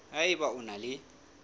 ha eba o na le